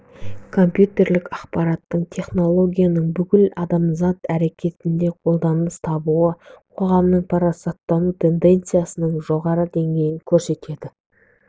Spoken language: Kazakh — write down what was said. компьютерлік ақпараттық технологияның бүкіл адамзат әрекетінде қолданыс табуы қоғамның парасаттану тенденциясының жоғары денгейін көрсетеді